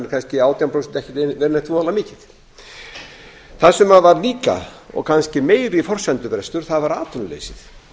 kannski átján prósent ekkert voðalega mikið það sem var líka og kannski meiri forsendubrestur var atvinnuleysið